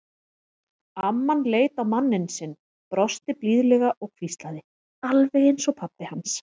Amman leit á manninn sinn, brosti blíðlega og hvíslaði: Alveg eins og pabbi hans.